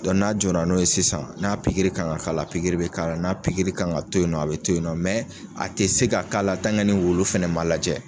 n'a jɔr'a n'o ye sisan n'a pikiri kan k'a la, pikiri bɛ k'a la, n'a pikiri kan ka to yen nɔ a bɛ to yen nɔ mɛ a tɛ se ka k'a la ni wulu fɛnɛ ma lajɛ.